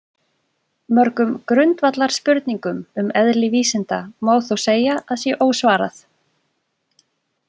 Mörgum grundvallarspurningum um eðli vísinda má þó segja að sé ósvarað.